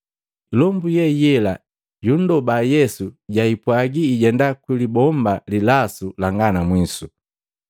Ilombu ye yela yundoba Yesu jaipwaji ijenda ku libomba lilasu langa na mwisu.